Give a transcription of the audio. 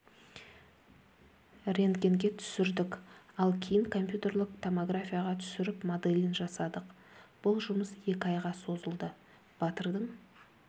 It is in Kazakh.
ренгтгенге түсірдік ал кейін компьютерлік томографияға түсіріп моделін жасадық бұл жұмыс екі айға созылды батырдың